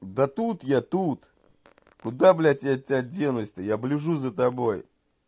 да тут я тут куда блядь я от тебя денусь то я ближу за тобой